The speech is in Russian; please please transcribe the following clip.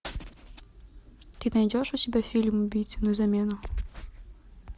ты найдешь у себя фильм убийцы на замену